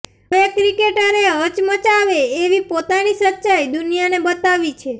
હવે ક્રિકેટરે હચમચાવે એવી પોતાની સચ્ચાઈ દુનિયાને બતાવી છે